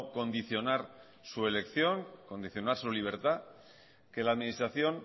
condicionar su elección condicionar su libertad que la administración